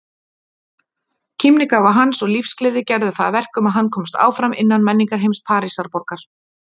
Kímnigáfa hans og lífsgleði gerðu það verkum að hann komst áfram innan menningarheims Parísarborgar.